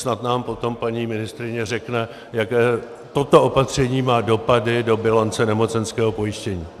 Snad nám potom paní ministryně řekne, jaké toto opatření má dopady do bilance nemocenského pojištění.